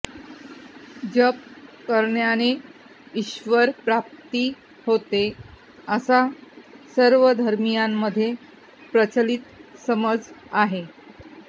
जप करण्याने ईश्वरप्राप्ती होते असा सर्व धर्मीयांमध्ये प्रचलित समज आहे